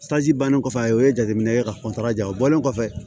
bannen kɔfɛ a ye jateminɛ kɛ ka ja o bɔlen kɔfɛ